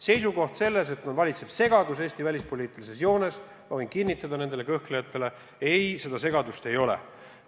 Seisukoht, et Eesti välispoliitilises joones valitseb segadus – ma võin kinnitada nendele kõhklejatele, et ei, seda segadust ei ole.